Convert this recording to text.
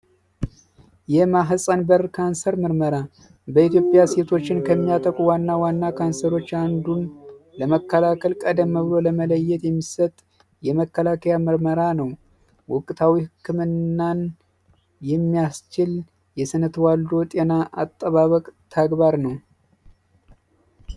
የማህፀን በር ካንሰር ምርመራ በኢትዮጵያ ሴቶችን ከሚያጠቁ ዋና ዋና ካንሰሮች አንዱ ለመከላከል ቀደም ብሎ ለመለየት የሚሰጥ የመከላከያ ምርመራ ነው ወቅታዊ ህክምናን የሚያስችል የስነ ተዋልዶ ጤና አጠባበቅ ተግባር ነው።